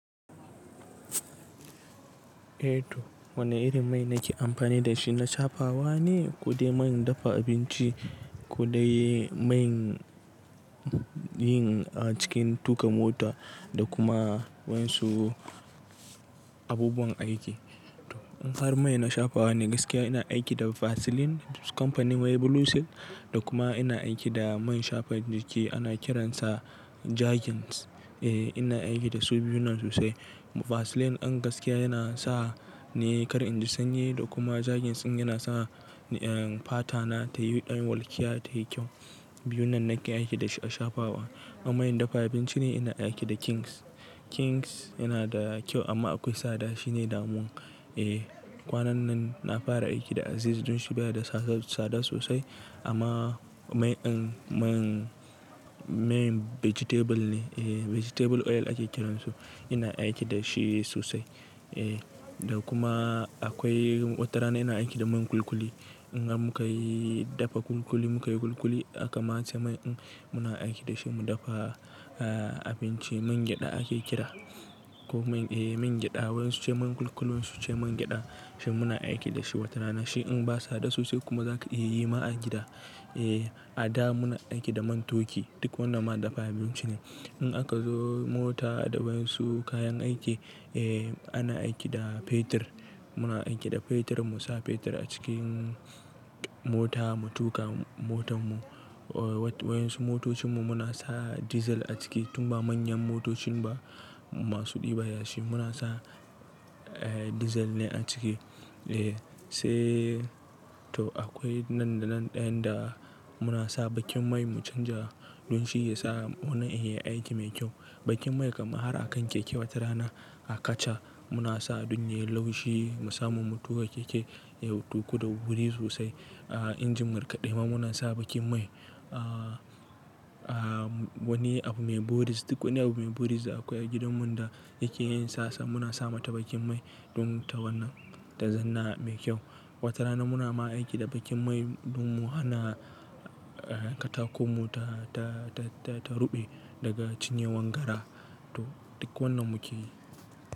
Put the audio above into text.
Eh to wane irin mai nake amfani da shi na shafawa ne? Kidai main dafa abinci, kodai man yin a cikin tuƙa mota da kuma wansu abubuwan aiki. In har main na shafawa ne gaskiya ina aiki da Vaseline kamfanin mai Blue Seal da kuma ina aiki da main shafa jiki ana kiransa Jargons. Eh ina aiki da su biyunnan sosai. Vaseline an gaskiya yana sa ne kar in ji sanyi da kuma Jargons in yana sa eh fata na ta yi ɗan walƙiya ta yi kyau. Biyunnan nake aiki da shi a shafawa. A main dafa abinci ne ina aiki da Kings. Kings yana da kyau amma akwai tsada shi ne damun. Eh kwanan nan na fara aiki da Aziz don shi baya da tsada sosai amma main in main main vegetable ne. Eh vegetable oil ake kiransu. Ina aiki da shi sosai. Eh da kuma akwai watarana ina aiki da main kulkuli. In an muka yi dafa kulkuli muka yi kulkuli aka masa main in muna aiki da shi mu dafa eh abinci main gyada ake kira. Ko main eh main gyada wayansu ce main kulkulin su ce main gyada. Shi muna aiki da shi watarana. Shi in ba tsada sosai kuma za ka iya yi ma a gida. Eh a da muna aiki da man toki duk wannan ma dafa abinci ne. In aka zo mota da wansu kayan aiki eh ana aiki da fetir. Muna aiki da fetir mu sa fetir a cikin mota mu tuƙa motanmu. Wayansu motocinmu muna sa dizal a ciki tun ba manyan motocin ba masu ɗiba yashi muna sa eh dizal ne a ciki. Eh sai to akwai nan da nan ɗayan da muna sa bakin mai mu canja don shi ya sa wannan ya yi aiki mai kyau. Bakin mai kam har a kan keke watarana a kaca muna sa don yayi laushi mu samu mu tuƙa keke ya tuƙu da wuri sosai. A injin markaɗe ma munan sa bakin mai. A a wani abu mai buris duk wani abu mai buris da akwai a gidanmu da yake yin sassa muna sa mata bakin mai don ta wannan ta zanna mai kyau. Watarana muna ma aiki da bakin mai don mu hana eh katakon mu ta ta ta ta ruɓe daga cinyewan gara. To duk wannan muke yi.